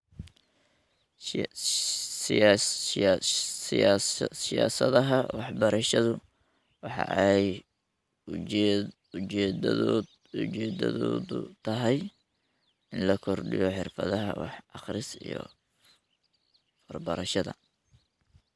Siyaasadaha waxbarashadu waxa ay ujeedadoodu tahay in la kordhiyo xirfadaha wax-akhris iyo farbarashada.